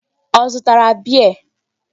Ọ zụtara beer?